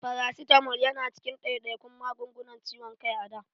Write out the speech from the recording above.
Farasitamol ya na cikin ɗaiɗaikun magungunan ciwon kai a da.